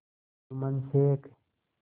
Jumman Sheikh